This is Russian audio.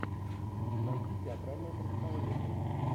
найди театральное представление